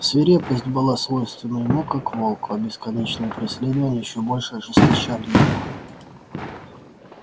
свирепость была свойственна ему как волку а бесконечные преследования ещё больше ожесточали его